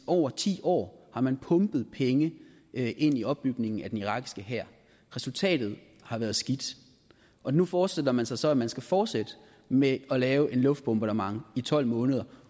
over ti år har man pumpet penge ind i opbygningen af den irakiske hær resultatet har været skidt og nu forestiller man sig så at man skal fortsætte med at lave et luftbombardement i tolv måneder